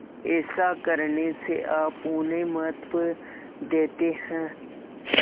ऐसा करने से आप उन्हें महत्व देते हैं